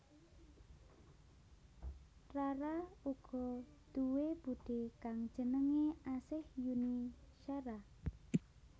Rara uga duwé budhé kang jenengé Asih Yuni Shara